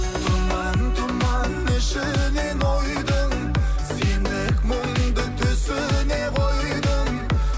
тұман тұман ішінен ойдың сендік мұңды түсіне қойдым